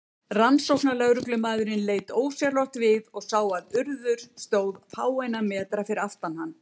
Rannsóknarlögreglumaðurinn leit ósjálfrátt við og sá að Urður stóð fáeina metra fyrir aftan hann.